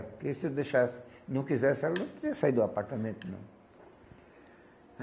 Porque se eu deixasse e não quisesse, ela nunca ia sair do apartamento, não.